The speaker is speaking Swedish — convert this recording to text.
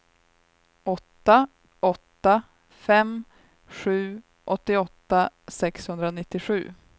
åtta åtta fem sju åttioåtta sexhundranittiosju